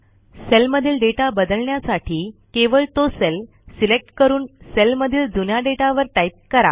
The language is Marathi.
सेलमधील डेटा बदलण्यासाठी केवळ तो सेल सिलेक्ट करून सेलमधील जुन्या डेटावर टाईप करा